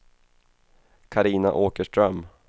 Carina Åkerström